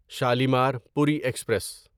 Shalimar Puri express